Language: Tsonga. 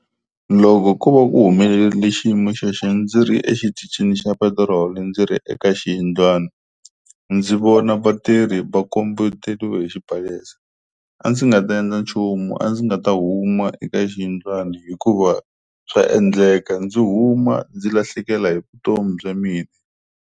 Loko ko va ku humelele xiyimo xexi ndzi ri exitichini xa petiroli ndzi ri eka xiyindlwana ndzi vona vatirhi va kombeteliwe hi xibalesa a ndzi nga ta endla nchumu a ndzi nga ta huma eka xiyindlwana hikuva swa endleka ndzi huma ndzi lahlekela hi vutomi bya mina.